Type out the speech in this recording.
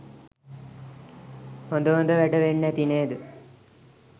හොඳ හොඳ වැඩ වෙන්න ඇති නේද?